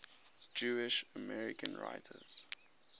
jewish american writers